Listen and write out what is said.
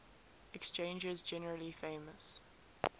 exchanges generally famous